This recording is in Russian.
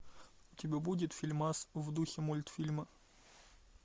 у тебя будет фильмас в духе мультфильма